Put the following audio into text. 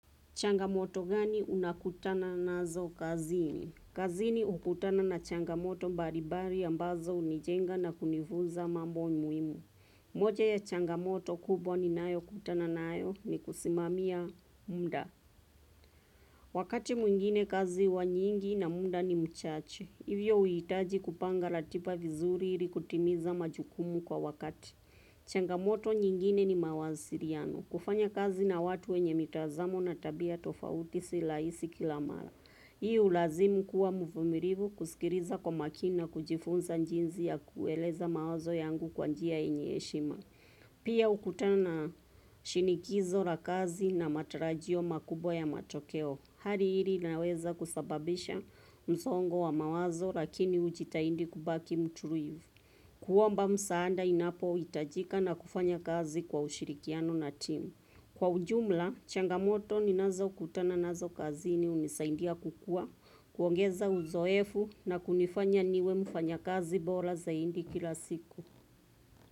Changamoto gani unakutana na zo kazini? Kazini ukutana na changamoto baribari ambazo unijenga na kunifuza mamboi muimu. Moja ya changamoto kubwa ni nayo kutana nayo ni kusimamia muda. Wakati mwingine kazi wa nyingi na muda ni mchache, hivyo uitaji kupanga ratiba vizuri ilikutimiza majukumu kwa wakati. Changamoto nyingine ni mawaziriano, kufanya kazi na watu wenye mitazamo na tabia tofauti silaisi kilamala. Hii ulazimu kuwa mfumirivu kusikiriza kwa makina kujifunza njinzi ya kueleza mawazo yangu kwa njia enyeshima. Pia ukutana shinikizo la kazi na matarajio makubwa ya matokeo. Hari hili naweza kusababisha mzongo wa mawazo lakini ujitaindi kubaki mturuivu. Kuomba msaanda inapoitajika na kufanya kazi kwa ushirikiano na team. Kwa ujumla, changamoto ninazo kutana nazo kazi ni unisaindia kukua, kuongeza uzoefu na kunifanya niwe mfanya kazi bora zaindi kila siku.